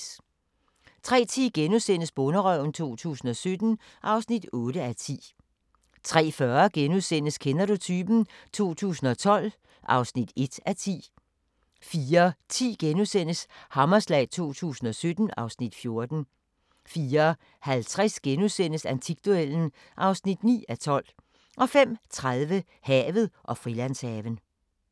03:10: Bonderøven 2017 (8:10)* 03:40: Kender du typen? 2012 (1:10)* 04:10: Hammerslag 2017 (Afs. 14)* 04:50: Antikduellen (9:12)* 05:30: Havet og Frilandshaven